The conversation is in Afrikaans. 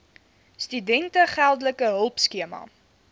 studente geldelike hulpskema